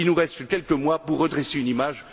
Il nous reste quelques mois pour redresser une image.